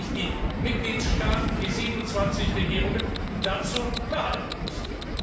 Dann werden sich die Mitgliedstaaten, die 27 Regierungen, dazu verhalten müssen.